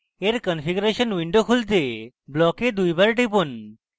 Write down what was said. এর configuration window খুলতে block দুইবার টিপুন